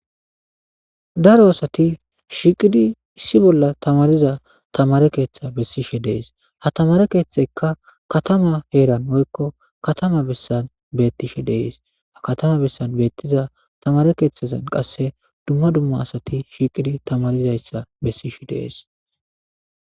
Daro asati shiiqidi issi bolla tamariza tamare keeththe bessishe dees ha tamare keeththekka katama heeran woykko katama bessan beettishe dees ha katama bessan beettiza tamare keeththazan qasse dumma dumma asati shiiqidi tamarizayssa bessishe dees